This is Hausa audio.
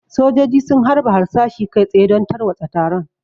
Sojoji sun harba harsashi kai tsaye don tarwatsa taron.